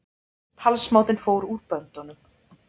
Talsmátinn fór úr böndunum